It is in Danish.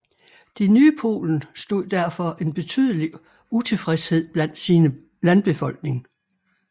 Det nye Polen stod derfor en betydelig utilfredshed blandt sin landbefolkning